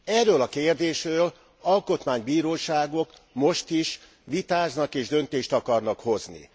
Erről a kérdésről alkotmánybíróságok most is vitáznak és döntést akarnak hozni.